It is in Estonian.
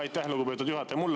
Aitäh, lugupeetud juhataja!